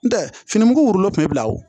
N tɛ fini mugu kun bɛ bila wo